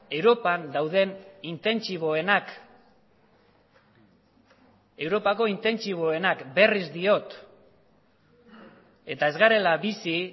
europan dauden intentsiboenak europako intentsiboenak berriz diot eta ez garela bizi